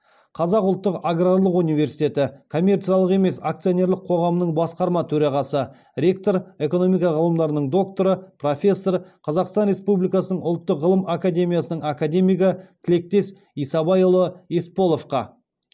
қазақ ұлттық аграрлық университеті коммерциялық емес акционерлік қоғамының басқарма төрағасы ректор экономика ғылымдарының докторы профессор қазақстан республикасының ұлттық ғылым академиясының академигі тілектес исабайұлы есполовқа